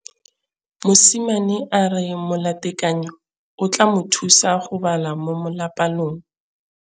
Mosimane a re molatekanyô o tla mo thusa go bala mo molapalong.